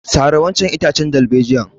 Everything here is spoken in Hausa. Sare wancan itace darbejiyar!